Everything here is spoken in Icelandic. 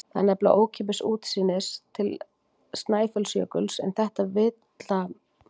Það er nefnilega ókeypis útsýnið til Snæfellsjökuls en þetta vilja menn ekki skilja.